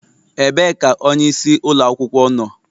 Ebee ka onye isi ụlọ akwụkwọ nọ?